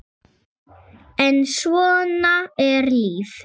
en svona er lífið.